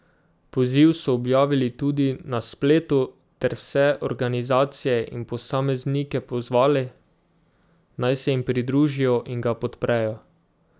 Poziv so objavili tudi na spletu ter vse organizacije in posameznike pozvali, naj se jim pridružijo in ga podprejo.